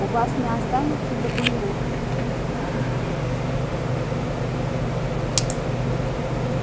у вас не останется документа